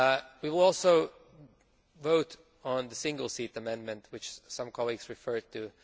We will also vote on the single seat amendment, which some colleagues referred to.